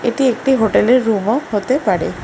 এটি একটি হোটেলের রুমও হতে পারে।